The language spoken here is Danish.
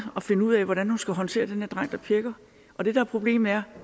at finde ud af hvordan hun skal håndtere den her dreng der pjækker og det der er problemet er